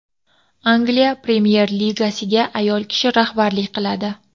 Angliya Premyer-Ligasiga ayol kishi rahbarlik qiladi.